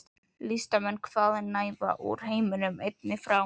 Listamenn hvaðanæva úr heiminum- einnig frá